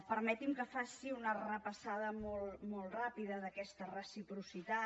permeti’m que faci una repassada molt ràpida d’aquesta reciprocitat